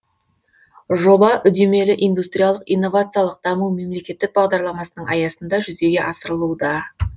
жоба үдемелі индустриялық инновациялық даму мемлекеттік бағдарламасының аясында жүзеге асырылуда